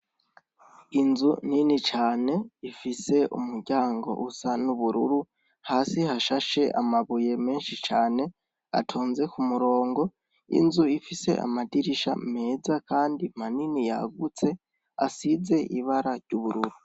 Inzu nini cane ifise umuryango usa n'ubururu hasi hashashe amabuye menshi cane atonze ku murongo inzu ifise amadirisha meza, kandi manini yagutse asize ibara ry'ubururu.